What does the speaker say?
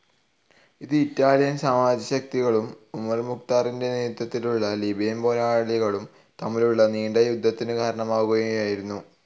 ഇത് ഇറ്റാലിയൻ സാമ്രാജ്യത്വശക്തികളും ഉമർ മുഖ്താറിന്റെ നേതൃത്വത്തിലുള്ള ലിബിയൻ പോരാളികളും തമ്മിലുള്ള നീണ്ട യുദ്ധത്തിനു കാരണമാവുകയായിരുന്നു.